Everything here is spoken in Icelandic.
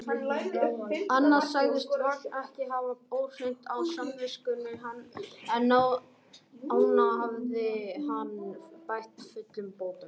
Annað sagðist Vagn ekki hafa óhreint á samviskunni, en ána hafði hann bætt fullum bótum.